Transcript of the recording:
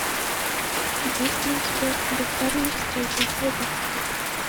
есть ли у тебя когда харви встретил боба